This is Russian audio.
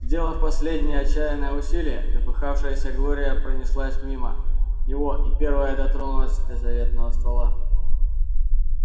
сделав последнее отчаянное усилие запыхавшаяся глория пронеслась мимо него и первая дотронулась до заветного ствола